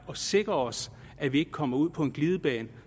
og sikrer os at vi ikke kommer ud på en glidebane